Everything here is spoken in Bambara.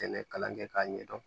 Sɛnɛ kalan kɛ k'a ɲɛdɔn